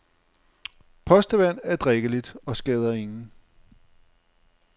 Postevand er drikkeligt og skader ingen.